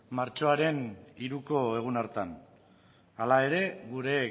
martxoaren hiruko egun hartan hala ere gure